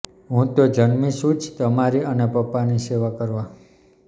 હું તો જન્મી છું જ તમારી અને પપ્પાની સેવા કરવા